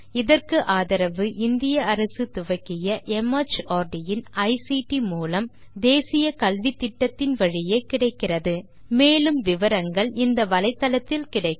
இதற்கு ஆதரவு இந்திய அரசு துவக்கிய மார்ட் இன் ஐசிடி மூலம் தேசிய கல்வித்திட்டத்தின் வழியே கிடைக்கிறது மேற்கொண்டு விவரங்கள் வலைத்தளத்தில் கிடைக்கும்